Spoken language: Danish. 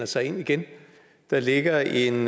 sig ind igen der ligger en